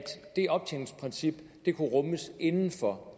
det optjeningsprincip kunne rummes inden for